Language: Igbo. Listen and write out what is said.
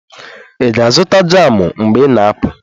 Ị ga-azụta jamụ mgbe ị na-apụ?